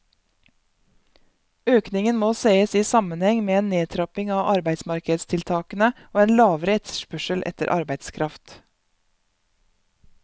Økningen må ses i sammenheng med en nedtrapping av arbeidsmarkedstiltakene og en lavere etterspørsel etter arbeidskraft.